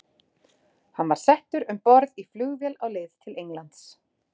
Hann er settur um borð í flugvél á leið til Englands.